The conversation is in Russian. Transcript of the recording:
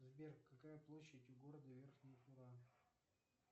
сбер какая площадь у города верхняя тура